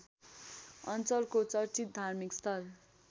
अञ्चलको चर्चित धार्मिकस्थल